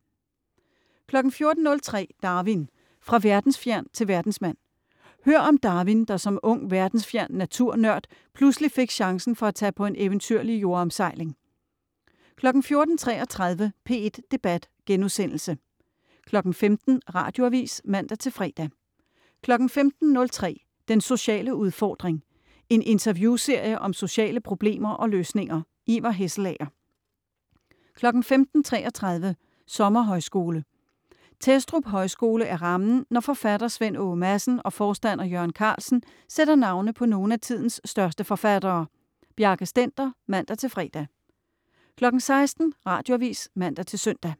14.03 Darwin: Fra verdensfjern til verdensmand. Hør om Darwin, der som ung verdensfjern natur-nørd pludselig fik chancen for at tage på en eventyrlig jordomsejling 14.33 P1 Debat* 15.00 Radioavis (man-fre) 15.03 Den sociale udfordring. En interviewserie om sociale problemer og løsninger. Ivar Hesselager 15.33 Sommerhøjskole, Testrup højskole er rammen, når forfatter Svend Åge Madsen og forstander Jørgen Carlsen sætter navne på nogle af tidens største forfattere. Bjarke Stender (man-fre) 16.00 Radioavis (man-søn)